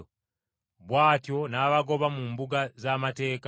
Bw’atyo n’abagoba mu mbuga z’amateeka.